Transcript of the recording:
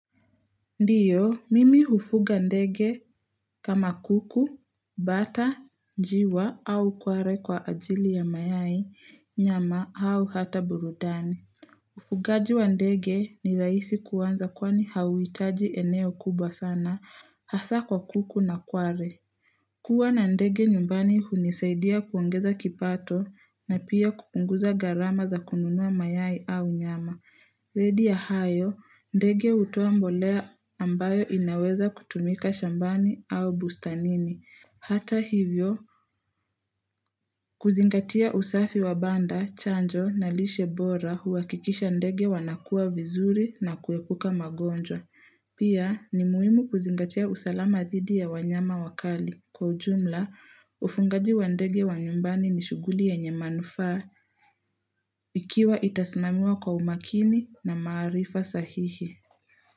Ndiyo, mimi hufuga ndege kama kuku, bata, njiwa au kware kwa ajili ya mayai, nyama au hata burudani. Ufugaji wa ndege ni rahisi kuanza kwani hauhitaji eneo kubwa sana hasa kwa kuku na kware. Kuwa na ndege nyumbani hunisaidia kuongeza kipato na pia kupunguza gharama za kununua mayai au nyama. Zaidi ya hayo, ndege hutoa mbolea ambayo inaweza kutumika shambani au bustanini. Hata hivyo, kuzingatia usafi wa banda, chanjo, na lishe bora huwakikisha ndege wanakua vizuri na kuepuka magonjwa. Pia, ni muhimu kuzingatia usalama dhidi ya wanyama wakali. Kwa ujumla, ufugaji wa ndege wa nyumbani ni shughuli yenye manufaa ikiwa itasimamiwa kwa umakini na maarifa sahihi.